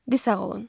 Di sağ olun.